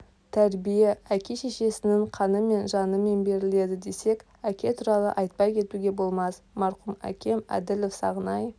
тәрбие әке-шешесінің қанымен жанымен беріледі десек әке туралы айтпай кетуге болмас марқұм әкем әділов сағынай